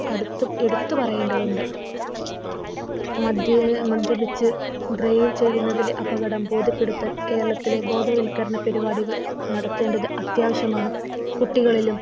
എടുത്തു പറയേണ്ടതുണ്ട്. മദ്യപിച്ച് Drive ചെയ്യുന്നതിൽ അപകടം ബോധ്യപ്പെടുത്താൻ കേരളത്തിലെ ബോധവൽക്കരണ പരിപാടികൾ നടത്തേണ്ടത് അത്യാവശ്യമാണ്. കുട്ടികളിലും